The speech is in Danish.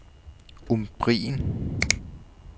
Umbrien